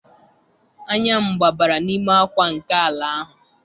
Anya m gbabara n'ime akwa nke ala ahụ